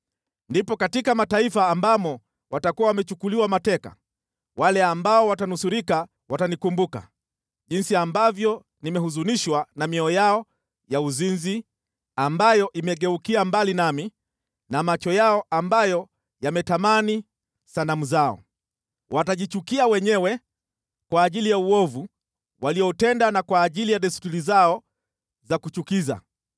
Ndipo katika mataifa ambamo watakuwa wamechukuliwa mateka, wale ambao watanusurika watanikumbuka, jinsi ambavyo nimehuzunishwa na mioyo yao ya uzinzi, ambayo imegeukia mbali nami na macho yao ambayo yametamani sanamu zao. Watajichukia wenyewe kwa ajili ya uovu walioutenda na kwa ajili ya desturi zao za kuchukiza.